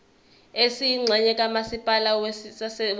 esiyingxenye kamasipala wasethekwini